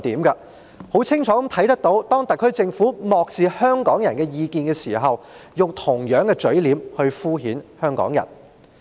我們很清楚看到，當特區政府漠視香港人的意見時，是用同樣的嘴臉敷衍香港人。